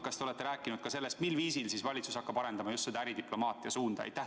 Kas te olete rääkinud ka sellest, mil viisil valitsus hakkab arendama just äridiplomaatiat?